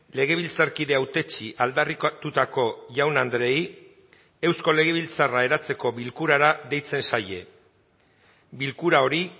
legebiltzarkide hautetsi aldarrikatutako jaun andreei eusko legebiltzarra eratzeko bilkurara deitzen zaie bilkura hori